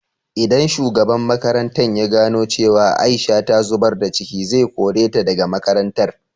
Idan shugaban makarantan ya gano cewa Aisha ta zubar da ciki, zai kore ta da ga makarantar.